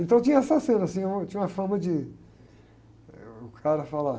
Então, tinha essa cena, assim, eu tinha uma forma de, eh, o cara falar,